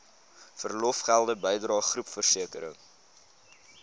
verlofgelde bydrae groepversekering